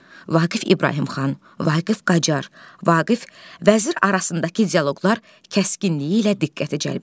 Vaqif İbrahim xan, Vaqif Qacar, Vaqif vəzir arasındakı dialoqlar kəskinliyi ilə diqqəti cəlb edir.